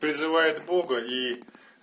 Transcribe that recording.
призывает бога и